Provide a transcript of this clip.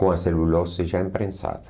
Com a celulose já imprensada.